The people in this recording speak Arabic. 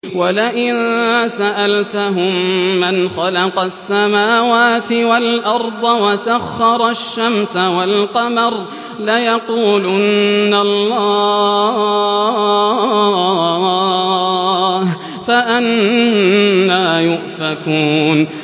وَلَئِن سَأَلْتَهُم مَّنْ خَلَقَ السَّمَاوَاتِ وَالْأَرْضَ وَسَخَّرَ الشَّمْسَ وَالْقَمَرَ لَيَقُولُنَّ اللَّهُ ۖ فَأَنَّىٰ يُؤْفَكُونَ